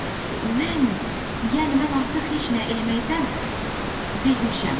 Mən, yəni mən artıq heç nə eləməkdən bezmişəm.